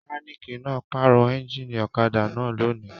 Mẹkáníkì náà pàrọ̀ ẹ́ńjínì ọ̀kadà náà lónìí.